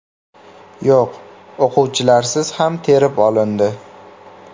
Yo‘q, o‘quvchilarsiz ham terib olindi.